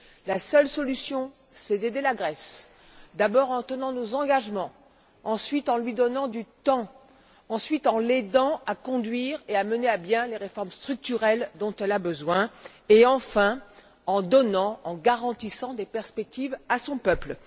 La seule solution est d'aider la Grèce d'abord en tenant nos engagements, ensuite, en lui donnant du temps, puis en l'aidant à conduire et à mener à bien les réformes structurelles dont elle a besoin et, enfin, en donnant et en garantissant des perspectives à son peuple.